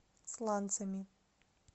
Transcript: сланцами